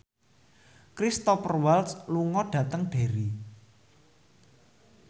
Cristhoper Waltz lunga dhateng Derry